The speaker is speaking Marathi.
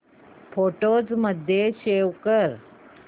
फोटोझ मध्ये सेव्ह कर